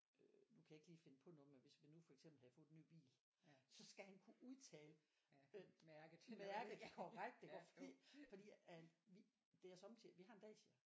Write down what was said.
Øh nu kan jeg ikke lige finde på noget men hvis vi nu for eksempel havde fået en ny bil så skal han kunne udtale øh mærket korrekt iggå fordi fordi at vi det er sommetider vi har en Dacia